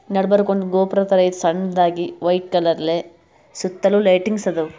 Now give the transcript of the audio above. ನಡಬರ್ಕ್ ಒಂದು ಗೋಪುರದ್ ಥರ ಐತಿ ಸಣ್ಣದಾಗಿ ವೈಟ್ ಕಲರಲೇ ಸುತ್ತಲು ಲೇಟಿಂಗ್ಸ್ ಅವ.